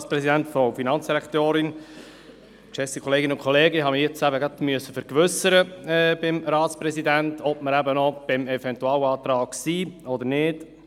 Ich habe mich kurz beim Ratspräsidenten vergewissern müssen, ob wir noch beim Eventualantrag sind oder nicht.